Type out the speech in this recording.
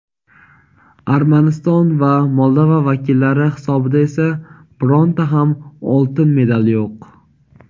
Armaniston va Moldova vakillari hisobida esa bironta ham oltin medal yo‘q.